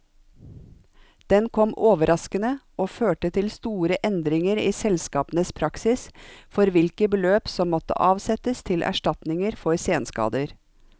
Den kom overraskende, og førte til store endringer i selskapenes praksis for hvilke beløp som måtte avsettes til erstatninger for senskader.